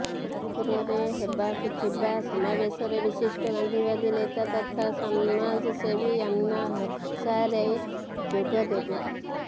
ଜଗତସିଂହପୁରରେ ହେବାକୁ ଥିବା ସମାବେଶରେ ବିଶିଷ୍ଟ ଗାନ୍ଧିବାଦୀ ନେତା ତଥା ସମାଜସେବୀ ଆନ୍ନା ହଜାରେ ଯୋଗଦେବେ